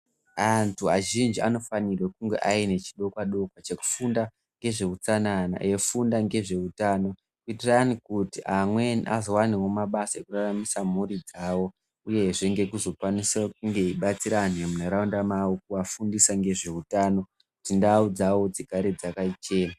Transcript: Antu azhinji anofanirwe kunge aine chidokwa dokwa chekufunda ngezveutsanana eifunda ngezvehutano kuitira kuti amweni azowanewo mabasa ekuraramisa mhuri dzawo. Uyezve ngekunge eizokwanise kubatsira antu vemuntaraunda mwawo kufundisa ngezvehutano kuti ndau dzawo dzigare dzakachena.